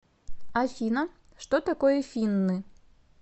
афина что такое финны